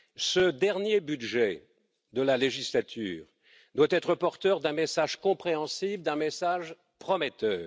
Ce dernier budget de la législature doit être porteur d'un message compréhensible, d'un message prometteur.